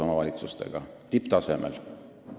Tipptasemel!